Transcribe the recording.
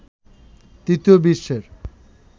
তৃতীয় বিশ্বের